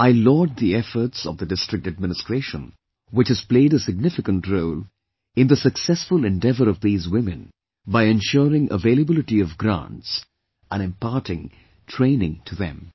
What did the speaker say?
I laud the efforts of the District Administration which has played a significant role in the successful endeavour of these women by ensuring availability of grants imparting training to them